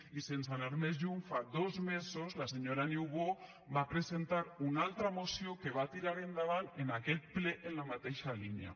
i sense anar més lluny fa dos mesos la senyora niubó va presentar una altra moció que va tirar endavant en aquest ple en la mateixa línia